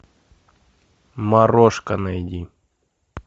морошка найди